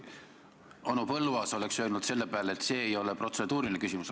Onu Põlluaas oleks selle peale öelnud, et see ei ole protseduuriline küsimus.